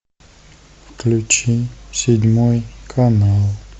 включи седьмой канал